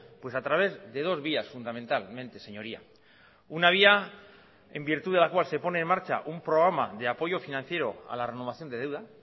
pues a través de dos vías fundamentalmente señoría una vía en virtud de la cual se pone en marcha un programa de apoyo financiero a la renovación de deuda